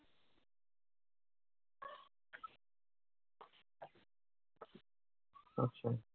আচ্ছা।